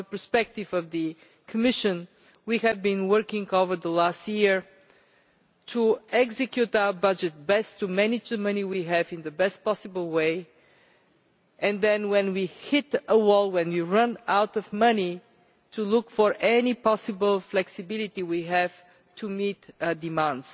From the perspective of the Commission, we have been working over the last year to execute our budget best to manage the money we have in the best possible way and then, when we hit a wall when we run out of money to look for any possible flexibility we have to meet a demand.